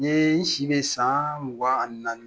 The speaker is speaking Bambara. N ye n si bɛ san mugan ani naani.